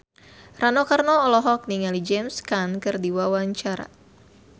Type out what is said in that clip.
Rano Karno olohok ningali James Caan keur diwawancara